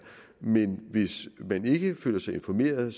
men hvis man ikke føler sig informeret